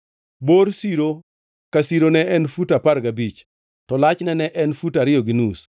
Bor siro ka siro ne en fut apar gabich, to lachne ne en fut ariyo gi nus;